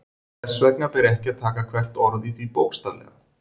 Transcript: Þess vegna ber ekki að taka hvert orð í því bókstaflega.